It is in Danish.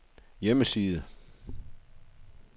hjemmeside